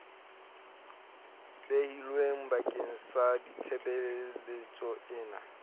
behilweng bakeng sa tshebeletso ena